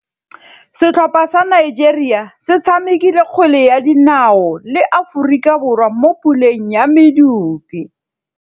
Setlhopha sa Nigeria se tshamekile kgwele ya dinaô le Aforika Borwa mo puleng ya medupe.